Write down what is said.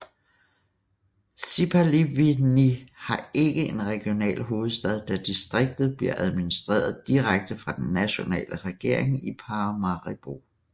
Sipaliwini har ikke en regional hovedstad da distriktet bliver administreret direkte fra den nationale regering i Paramaribo